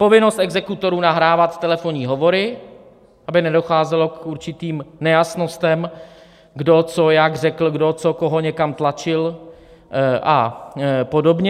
Povinnost exekutorů nahrávat telefonní hovory, aby nedocházelo k určitým nejasnostem, kdo co jak řekl, kdo co koho někam tlačil a podobně.